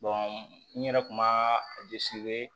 n yɛrɛ kun b'a